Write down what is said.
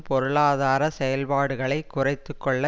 பொருளாதார செயல்பாடுகளை குறைத்து கொள்ள